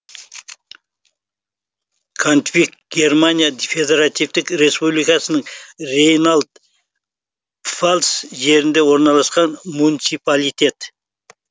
контвиг германия федеративтік республикасының рейнланд пфальц жерінде орналасқан муниципалитет